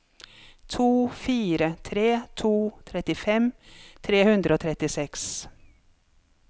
to fire tre to trettifem tre hundre og trettiseks